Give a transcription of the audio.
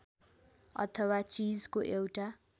अथवा चीजको एउटा